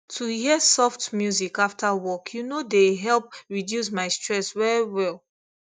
to hear soft music after work you know dey help reduce my stress well well